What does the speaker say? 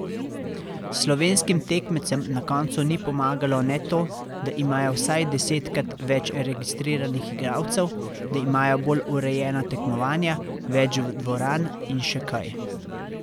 Slovenskim tekmecem na koncu ni pomagalo ne to, da imajo vsaj desetkrat več registriranih igralcev, da imajo bolj urejena tekmovanja, več dvoran in še kaj.